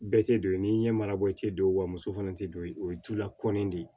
Bɛɛ tɛ don yen n'i ɲɛ mara i tɛ don wa muso fana tɛ don o ye du la kɔli de ye